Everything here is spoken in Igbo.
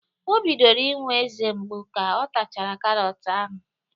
O bidoro inwe eze mgbu ka ọ tachara karọt ahụ